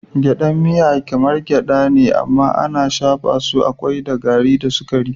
Gyaɗan miya kamar gyaɗa ce amma ana shafa su a kwai da gari da sukari.